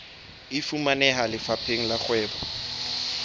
e fumaneha lefapheng la kgwebo